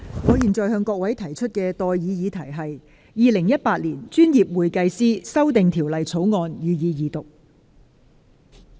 我現在向各位提出的待議議題是：《2018年專業會計師條例草案》，予以二讀。